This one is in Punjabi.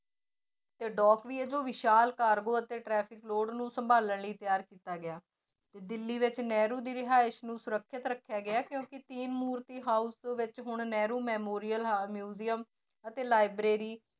ਤੇ ਵੀ ਹੈ ਜੋ ਵਿਸ਼ਾਲ cargo ਅਤੇ traffic load ਨੂੰ ਸੰਭਾਲਣ ਲਈ ਤਿਆਰ ਕੀਤਾ ਗਿਆ, ਤੇ ਦਿੱਲੀ ਵਿੱਚ ਨਹਿਰੂ ਦੀ ਰਿਹਾਇਸ ਨੂੰ ਸੁਰੱਖਿਅਤ ਰੱਖਿਆ ਗਿਆ ਹੈ ਕਿਉਂਕਿ house ਵਿੱਚ ਹੁਣ ਨਹਿਰੂ memorial museum ਅਤੇ library